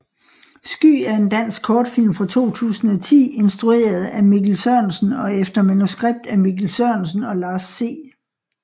Sky er en dansk kortfilm fra 2010 instrueret af Mikkel Sørensen og efter manuskript af Mikkel Sørensen og Lars C